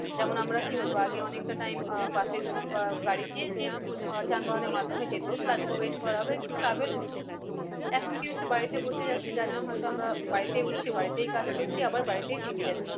যেমন আমরা কি হতো আগে অনেকটা time আহ বাসের জন্য বা গাড়িতে যে আহ যান বাহনের মাধ্যমে যেত তার জন্য wait করা বা একটু travel হতো। এখন কি হচ্ছে বাড়িতে বসে যাচ্ছি যার জন্য হয় তো আমরা বাড়িতেই উঠছি বাড়িতেই কাজ করছি আবার বাড়িতেই থেকে যাচ্ছি।